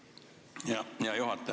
Hea juhataja!